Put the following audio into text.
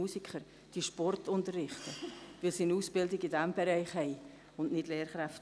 Es ist schon ein wenig kompliziert.